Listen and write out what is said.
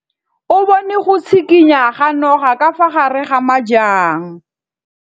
O bone go tshikinya ga noga ka fa gare ga majang.